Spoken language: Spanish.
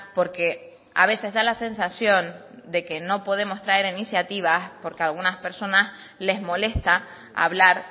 porque a veces da la sensación de que no podemos traer iniciativas porque a algunas personas les molesta hablar